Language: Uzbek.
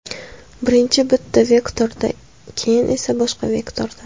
Birinchi bitta vektorda, keyin esa boshqa vektorda.